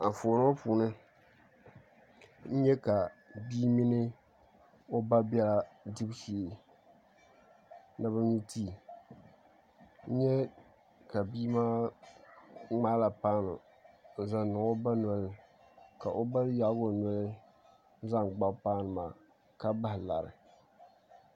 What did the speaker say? Anfooni ŋo puuni n nyɛ ka bia mini o ba biɛla dibu shee ni bi nyu tii n nyɛ ka bia maa ŋmaala paanu n zaŋ niŋ o ba nolini ka o ba yaagi o noli n zaŋ gbabi paanu maa ka bahi lari